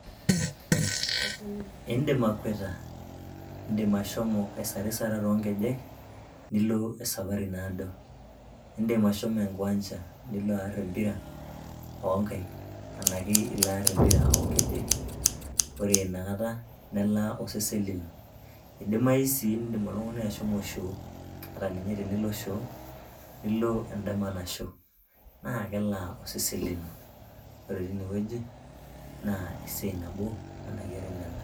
Indim akweta, indim ashomo aisarisara too nkejek nilo esafari naado. Indim ashomo enkiwancha nilo aarr empira oonkaik ashu nilo aarr empira oo nkejek. Ore ina kata nelaa osesen lino. Idimayu sii oltung'ani ashomo shoo, ore tenilo shoo, nilo endama nasho, naa kelaa osesen lino, Ore tine wueji naa esiai nabo enakeret nena.